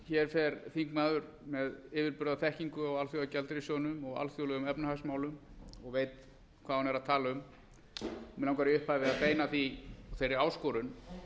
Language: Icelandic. hér fer þingmaður með yfirburðaþekkingu á alþjóðagjaldeyrissjóðnum og alþjóðlegum efnahagsmálum og veit hvað hún er að tala um mig langar í upphafi að beina þeirri áskorun